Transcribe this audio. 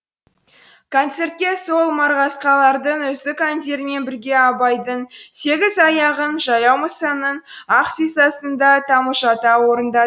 концертке сол марғасқалардың үздік әндерімен бірге абайдың сегіз аяғын жаяу мұсаның ақ сисасын да тамылжыта орында